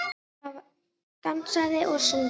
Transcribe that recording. Það var dansað og sungið.